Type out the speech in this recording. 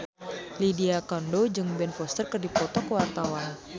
Lydia Kandou jeung Ben Foster keur dipoto ku wartawan